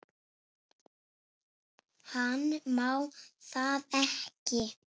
Hann má það ekki.